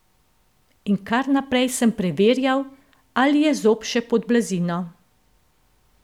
In kar naprej sem preverjal, ali je zob še pod blazino.